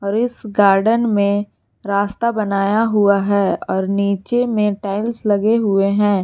इस गार्डन में रास्ता बनाया हुआ है और नीचे में टाइल्स लगे हुए हैं।